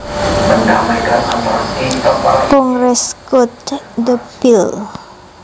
Congress gutted the bill